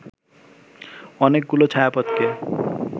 অনেকগুলো ছায়াপথকে